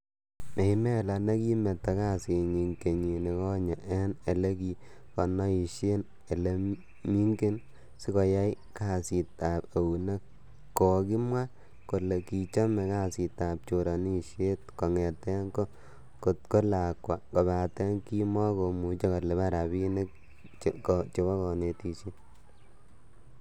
Maimela nekimeto kasinyin kenyikonye en elekikonoishen ele mingin sikoyai kasitab eunek- Kokimwa kole kichome kasitab choronisiet kongeten ko ta ko lakwa kobaten kimo komuche kolipan rabinikab konetishiet.